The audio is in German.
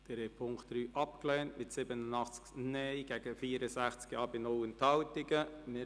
Sie haben den Punkt 3 mit 87 Nein- gegen 64 Ja-Stimmen bei 0 Enthaltungen abgelehnt.